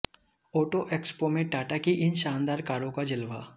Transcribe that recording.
auto expo में टाटा की इन शानदार कारों का जलवा